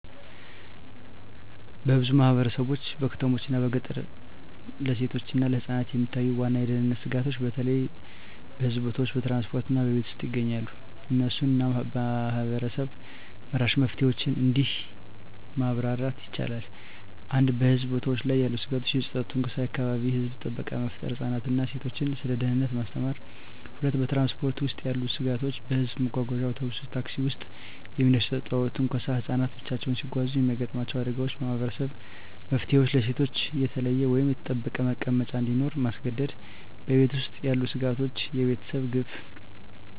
በብዙ ማህበረሰቦች (በከተሞችና በገጠር) ለሴቶችና ለህፃናት የሚታዩ ዋና የደህንነት ስጋቶች በተለይ በህዝብ ቦታዎች፣ በትራንስፖርት እና በቤት ውስጥ ይገኛሉ። እነሱን እና ማህበረሰብ-መራሽ መፍትሄዎችን እንዲህ ማብራር ይቻላል፦ 1. በህዝብ ቦታዎች ያሉ ስጋቶች የጾታዊ ትንኮሳ የአካባቢ የህዝብ ጥበቃ መፍጠር ህፃናትን እና ሴቶችን ስለ ደህንነት ማስተማር 2. በትራንስፖርት ውስጥ ያሉ ስጋቶች በህዝብ መጓጓዣ (አውቶቡስ፣ ታክሲ) ውስጥ የሚደርስ ጾታዊ ትንኮሳ ህፃናት ብቻቸውን ሲጓዙ የሚያጋጥሙ አደጋዎች የማህበረሰብ መፍትሄዎች ለሴቶች የተለየ ወይም የተጠበቀ መቀመጫ እንዲኖር ማስገደድ 3. በቤት ውስጥ ያሉ ስጋቶች የቤተሰብ ግፍ